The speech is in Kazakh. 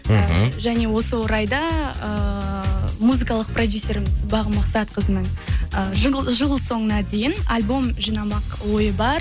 мхм және осы орайда эээ музыкалық продюссеріміз бағым мақсатқызының жыл соңына дейін альбом жинамақ ойы бар